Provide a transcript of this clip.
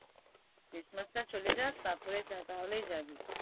christmas টা চলে যাক তারপরে তাহলে যাবি।